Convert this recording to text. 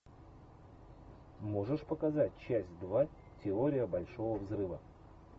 можешь показать часть два теория большого взрыва